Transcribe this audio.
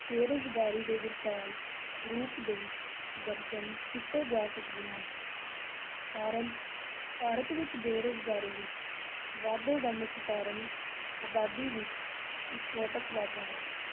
ਬੇਰੁਜ਼ਗਾਰੀ ਦੇ ਵਿਕਰਾਲ ਰੂਪ ਦੇ ਦਰਸਨ ਕੀਤੇ ਜਾ ਸਕਦੇ ਹਨ ਕਾਰਨ ਭਾਰਤ ਵਿੱਚ ਬੇਰੁਜ਼ਗਾਰੀ ਵਿੱਚ ਵਾਧੇ ਦਾ ਮੁੱਖ ਕਾਰਨ ਆਬਾਦੀ ਵਿੱਚ ਵਿਸਫੋਟਕ ਵਾਧਾ ਹੈ।